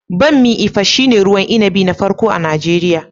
Bammi Ifa shine ruwan inabi na farko a Najeriya.